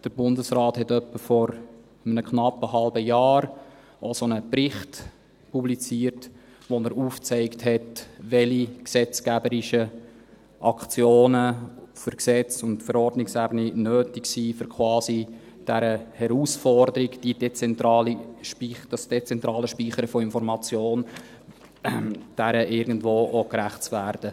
Der Bundesrat hat etwa vor einem knappen halben Jahr auch so einen Bericht publiziert, in dem er aufgezeigt hat, welche gesetzgeberischen Aktionen auf Gesetzes- und Verordnungsebene nötig sind, um quasi dieser Herausforderung, diesem dezentralen Speichern von Information, irgendwo auch gerecht zu werden.